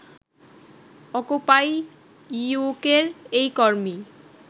occupy ইউকের এই কর্মী